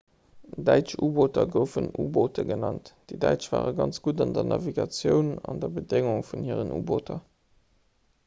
däitsch u‑booter goufen 'u‑boote' genannt. déi däitsch ware ganz gutt an der navigatioun an der bedéngung vun hiren u‑booter